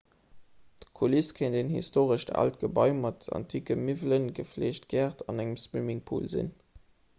d'kuliss kéint en historescht aalt gebai mat anticke miwwelen gefleegte gäert an engem swimmingpool sinn